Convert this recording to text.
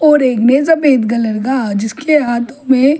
और एक मे सफेद कलर का जिसके हाथों में--